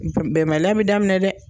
Bɛnbaliya be daminɛ dɛ!